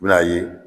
I bi n'a ye